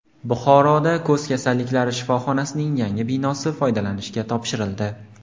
Buxoroda ko‘z kasalliklari shifoxonasining yangi binosi foydalanishga topshirildi.